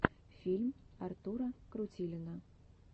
фильм артура крутилина